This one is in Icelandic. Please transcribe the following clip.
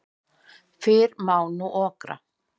Fyrr má okra en.